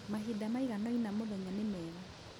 Mahinda maiganoina mũthenya nĩ mega.